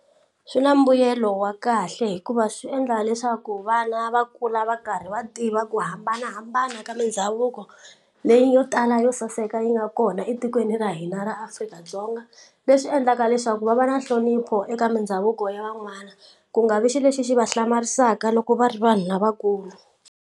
Swi na mbuyelo wa kahle hikuva swi endla leswaku vana va kula va karhi va tiva ku hambanahambana ka mindhavuko leyi yo tala yo saseka yi nga kona etikweni ra hina ra Afrika-Dzonga leswi endlaka leswaku va va na nhlonipho eka mindhavuko ya van'wana ku nga vi xilo lexi xi va hlamarisaka loko va ri vanhu lavakulu.